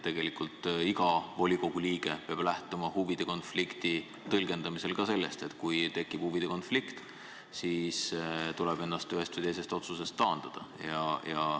Tegelikult peab iga volikogu liige lähtuma huvide konflikti tõlgendamisel ka sellest, et kui tekib huvide konflikt, siis tuleb ennast ühe või teise otsuse tegemisest taandada.